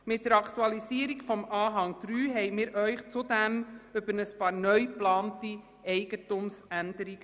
Mit der Aktualisierung von Anhang 3 haben wir Sie zudem über ein paar neu geplante Eigentumsänderungen